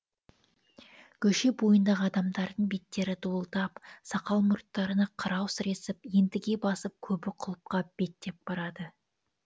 көше бойындағы адамдардың беттері дуылдап сақал мұрттарына қырау сіресіп ентіге басып көбі құлыпқа беттеп барады